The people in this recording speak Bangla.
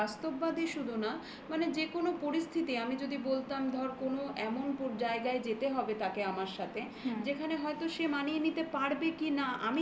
হ্যাঁ বাস্তববাদী শুধু না যে কোনো পরিস্থিতি আমি যদি বলতাম ধর কোনো এমন জায়গায় যেতে হবে তাকে আমার সাথে যেখানে হয়তো সে মানিয়ে নিতে পারবে কিনা